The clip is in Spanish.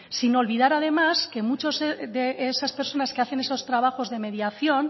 sin olvidar además que muchas de esas personas que hacen esos trabajos de mediación